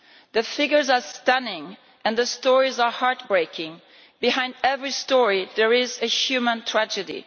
The figures are stunning, and the stories are heartbreaking behind every story, there is a human tragedy.